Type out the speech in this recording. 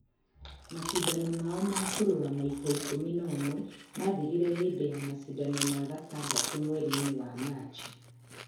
Macindano mao ma kũrũa maita ikũmi na ũmwe maathirire hĩndĩ ya macindano ma gatandatũ mweri-inĩ wa Machi.